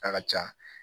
A ka ca